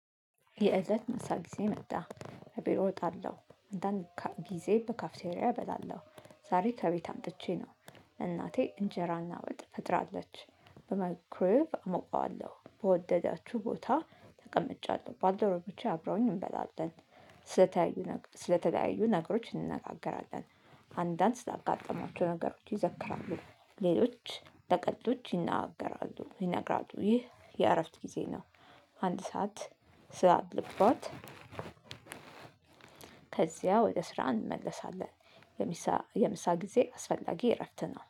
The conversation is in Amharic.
የእለት ምሳ ጊዜ መጣ ከቢሮ እጣለሁ አንዳንድ ጊዜ በካፍቴሪያ እበላለሁ። ዛሬ ከቤት አምጥቼ ነው። እናቴ እንጀራና ወጥ ፈጥራለች። በመክረብ አሞቃዋለሁ በወደዳችሁ ቦታ ተቀምጫለሁ ባልደረቦቼ አብረውኝ እንበላለን። ስለተያዩ ስለተለያዩ ነገሮች እንነጋገራለን። አንዳንድ ስላጋጠማቸው ነገሮች ይዘክራሉ ሌሎች በቀልዶች ይናገራሉ ይነግራሉ ይህ የእረፍት ጊዜ ነው። አንድ ሰዓት ስላለባት ከዚያ ወደ ስራ እንመለሳለን። የሚሳ የምሳ ጊዜ አስፈላጊ እረፍት ነው